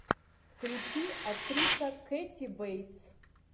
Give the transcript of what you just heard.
включи актриса кэти бейтс